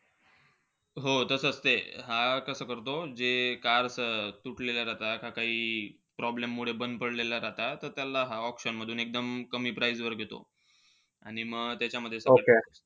हो तसंच ते. हा कसं करतो, जे cars तुटलेल्या राहता, का काई problem मुळे बंद पडलेल्या राहता. त त्याला हा auction मधून एकदम कमी price वर घेतो. आणि म,